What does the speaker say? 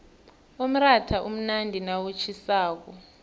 umratha umnandi nawutjhisako